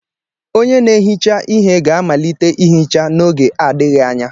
onye na-ehicha ihe ga-amalite ihicha n'oge adịghị anya.